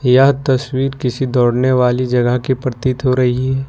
यह तस्वीर किसी दौड़ने वाली जगह की प्रतीत हो रही है।